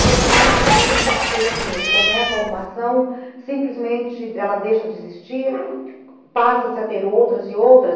Que o se na que também tenha uma coisa assim, ele começa alguma ação, simplesmente ela deixa de existir, passa-se a ter outras e outras.